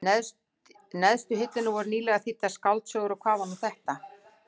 neðstu hillunni voru nýlegar þýddar skáldsögur, og hvað var nú þetta?